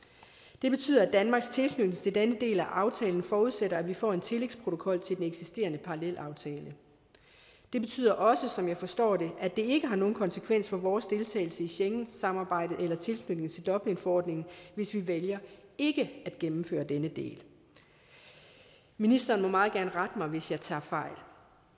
det betyder at danmarks tilknytning til den del af aftalen forudsætter at vi får en tillægsprotokol til den eksisterende parallelaftale det betyder også som jeg forstår det at det ikke har nogen konsekvens for vores deltagelse i schengensamarbejdet eller tilknytningen til dublinforordningen hvis vi vælger ikke at gennemføre denne del ministeren må meget gerne rette mig hvis jeg tager fejl